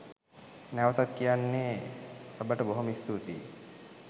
නැවතත් කියන්නේ සබට බොහොම ස්තූතියි.